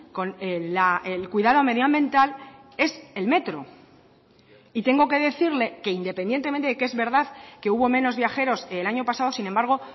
con el cuidado medioambiental es el metro y tengo que decirle que independientemente que es verdad que hubo menos viajeros el año pasado sin embargo